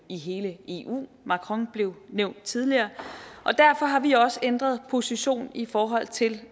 i hele eu macron blev nævnt tidligere og derfor har vi også ændret position i forhold til